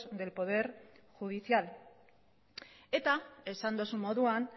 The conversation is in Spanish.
del poder judicial eta esan duzun moduan